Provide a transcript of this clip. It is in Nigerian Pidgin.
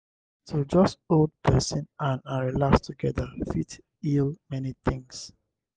to just hold person hand and relax together fit heal many things.